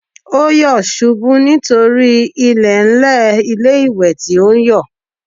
Ó yọ̀ ṣubú nítorí ilẹ̀ẹ́ńlẹ̀ ilé-ìwẹ̀ tí ó ń yọ̀